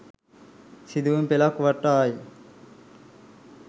සිදුවීමි පෙළක් වටායි.